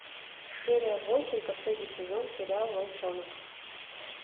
серия восемь последний сезон сериал волчонок